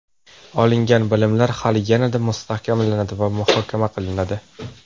Olingan bilimlar hali yanada mustahkamlanadi va muhokama qilinadi.